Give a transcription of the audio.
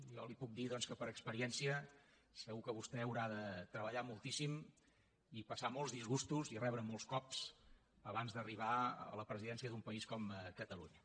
jo li puc dir doncs que per experiència segur que vostè haurà de treballar moltíssim i passar molts disgustos i rebre molts cops abans d’arribar a la presidència d’un país com catalunya